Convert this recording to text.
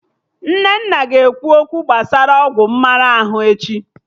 Nnenna ga-ekwu okwu gbasara ọgwụ mmara ahụ echi